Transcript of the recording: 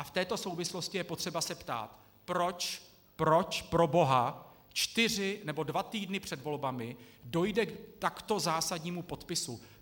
A v této souvislosti je potřeba se ptát, proč, proč proboha, čtyři nebo dva týdny před volbami dojde k takto zásadnímu podpisu?